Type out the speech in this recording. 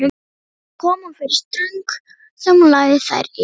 Þar kom hún fyrir stöng sem hún lagði þær yfir.